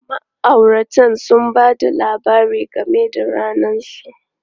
Ma'auratan sun ba da labari game da ranar su.